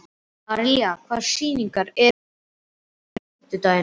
Aríella, hvaða sýningar eru í leikhúsinu á fimmtudaginn?